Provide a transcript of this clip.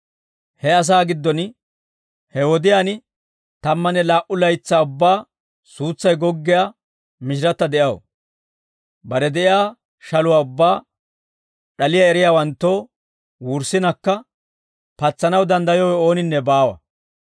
He asaa giddon he wodiyaan tammanne laa"u laytsaa ubbaa suutsay goggiyaa mishiratta de'aw. Bare de'iyaa shaluwaa ubbaa d'aliyaa eriyaawanttoo wurssinakka patsanaw danddayowe ooninne baawa.